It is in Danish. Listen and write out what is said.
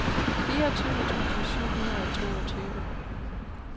fireogtyve tusind syv hundrede og toogtyve